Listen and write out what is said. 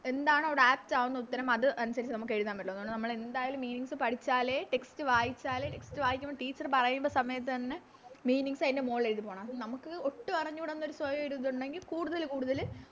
എന്താണവിടെ Apt ആവുന്ന ഉത്തരം അത് അനുസരിച്ച് നമുക്ക് എഴുതാൻ പറ്റുള്ളൂ അതുകൊണ്ട് നമ്മളെന്തായാലും Meanings പഠിച്ചാലേ Text വായിച്ചാലേ Text വായിക്കുമ്പോ Teacher പറയുന്ന സമയത്ത് തന്നെ Meanings അയിൻറെ മോളില് എഴുതി പോണം അപ്പൊ നമുക്ക് ഒട്ടും അറിഞ്ഞൂടാ എന്നൊരു സ്വയം ഒരു ഇതുണ്ടെങ്കിൽ കൂടുതല് കൂടുതല്